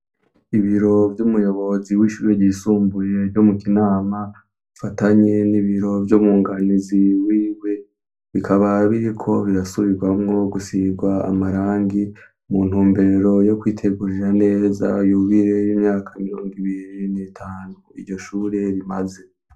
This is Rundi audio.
Ibiro vyumuyobozi w'ishure ryisumbuye ryo mu Kinama bifatanye n'ibiro vyumunganizi wiwe. Bikaba biriko birasubirwamo gusigwa amarangi muntumbero yo kwitegurira neza yubire y'imyaka mirongo ibiri n'itanu iryo shure rimaze.